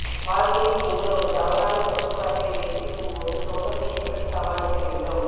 வாழ்க்கையில் நீங்கள் ஒரு தவறான தொகுப்பு அட்டை வைத்திருக்கும் போது சோகத்தை எப்படி சமாளிக்க வேண்டும்